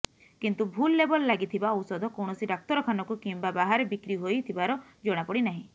କିନ୍ତୁ ଭୁଲ୍ ଲେବଲ୍ ଲାଗିଥିବା ଔଷଧ କୌଣସି ଡାକ୍ତରଖାନକୁ କିଂବା ବାହାରେ ବିକ୍ରି ହୋଇ ଥିବାର ଜଣାପଡ଼ି ନାହିଁ